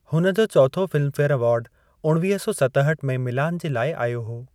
हुन जो चोथो फ़िल्मफेयर अवार्डु ऊणिवीह सौ सतहठि में मिलान जे लाइ आयो हो।